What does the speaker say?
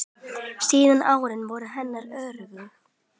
Síðustu árin voru henni örðug.